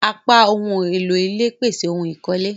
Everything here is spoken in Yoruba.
Apá ohùn èlò ilé pese awon ohun ikole.